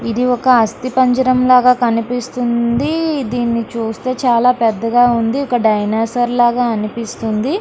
ఇది ఒక అస్తిపంజరంలాగా కనిపిస్తుంది. దీన్ని చూస్తే చాలా పెద్దగా ఉంది. ఒక డైనోసార్ లాగా అనిపిస్తుంది.